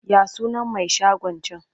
Ya sunan mai shagon can?